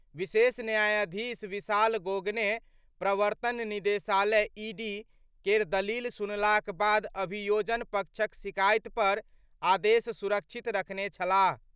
विशेष न्यायाधीश विशाल गोगने प्रवर्तन निदेशालय (ईडी) केर दलील सुनलाक बाद अभियोजन पक्षक शिकायत पर आदेश सुरक्षित रखने छलाह।